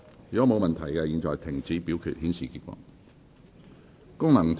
如果沒有問題，現在停止表決，顯示結果。